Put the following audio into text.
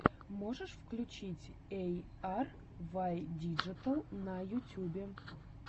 можешь включить эй ар вай диджитал на ютюбе